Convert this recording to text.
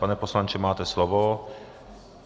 Pane poslanče, máte slovo.